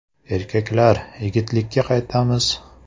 Erkaklar, yigitlikka qaytamiz!